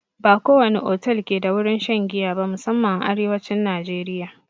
Ba ko wani otal ke da wurin shan giya ba, musanman a arewacin najeriya.